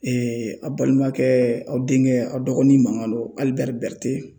a balimakɛ aw denkɛ aw dɔgɔnin mankan don Alibɛri Bɛrite